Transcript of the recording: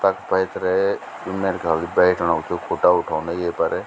तख पैथर मेरे ख्याल से बैठणुकू छ यु खुट्टा उठोंदा येफर।